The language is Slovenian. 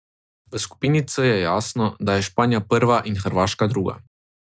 V skupini C je jasno, da je Španija prva in Hrvaška druga.